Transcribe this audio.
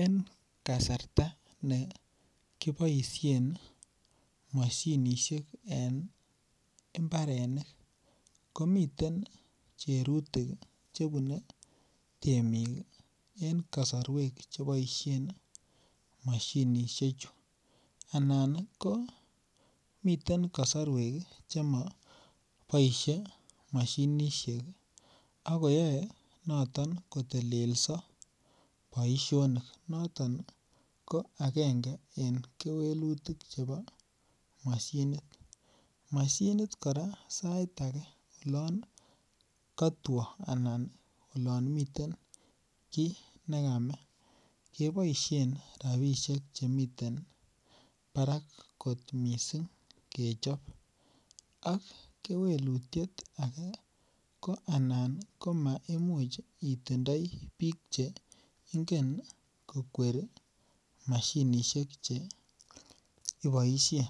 En kasarta ne kiboisien mashinisiek en mbarenik komiten cherutik Che bune temik en kasarwek Che boisien mashinishechu anan ko miten kosorwek Che moboisie moshinisiek ago koyoe noton kotelso boisionik noton ko agenge en kewelutik chebo mashinit mashinit kora sait age olon kotwo Anan olon mi miten nekame keboisien rabisiek Che miten barak kot mising kechob ak kewelutiet ake anan komemuch itindoi bik Che ingen kokweri mashinisiek Che iboisien